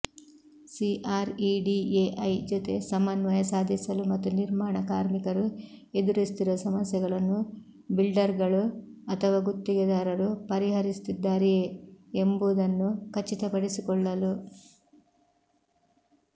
CREDAI ಜೊತೆ ಸಮನ್ವಯ ಸಾಧಿಸಲು ಮತ್ತು ನಿರ್ಮಾಣ ಕಾರ್ಮಿಕರು ಎದುರಿಸುತ್ತಿರುವ ಸಮಸ್ಯೆಗಳನ್ನು ಬಿಲ್ಡರ್ಗಳು ಅಥವಾ ಗುತ್ತಿಗೆದಾರರು ಪರಿಹರಿಸುತ್ತಿದ್ದಾರೆಯೇ ಎಂಬುದನ್ನು ಖಚಿತಪಡಿಸಿಕೊಳ್ಳಲು